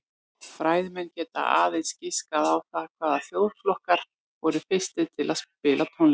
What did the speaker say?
Fræðimenn geta aðeins giskað á það hvaða þjóðflokkar voru fyrstir til að spila tónlist.